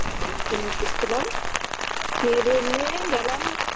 মাকে নিয়ে ফিরছিলাম খেয়ে দেয়ে নিয়ে গেলাম